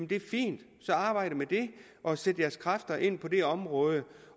det er fint så arbejd med det og sæt jeres kræfter ind på det område